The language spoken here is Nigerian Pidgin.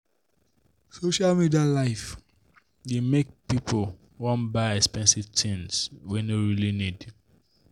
social media life dey make people wan buy expensive things wey no really need.